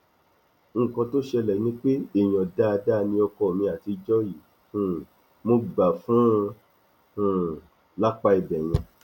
nǹkan tó ṣẹlẹ ni pé èèyàn dáadáa ni ọkọ mi àtijọ yìí um mo gbà fún un um lápá ibẹ yẹn